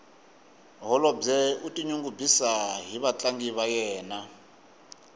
holobye u tinyungubyisa hi vatlangi va yena